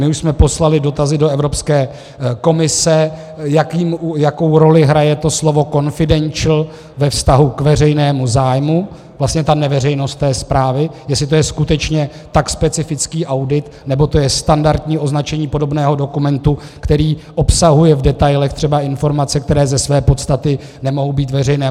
My už jsme poslali dotazy do Evropské komise, jakou roli hraje to slovo confidential ve vztahu k veřejnému zájmu, vlastně ta neveřejnost té zprávy, jestli je to skutečně tak specifický audit, nebo je to standardní označení podobného dokumentu, který obsahuje v detailech třeba informace, které ze své podstaty nemohou být veřejné.